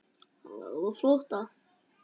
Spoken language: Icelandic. Hann lagði á flótta.